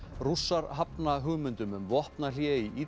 Rússar hafna hugmyndum um vopnahlé í